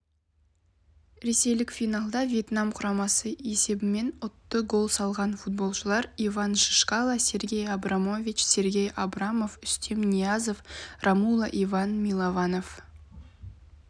ресейліктер финалда вьетнам құрамасын есебімен ұтты гол салған футболшылар иван чишкала сергей абрамович сергей абрамов артем ниязов ромуло иван милованов